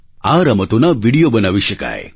આ રમતોના વિડિયો બનાવી શકાય